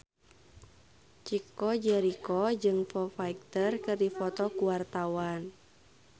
Chico Jericho jeung Foo Fighter keur dipoto ku wartawan